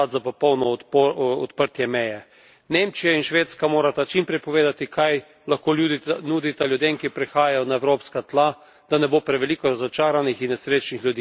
Nemčija in Švedska morata čim prej povedati, kaj lahko nudita ljudem, ki prihajajo na evropska tla, da ne bo preveliko razočaranih in nesrečnih ljudi. Moramo se zresniti in biti odgovorni.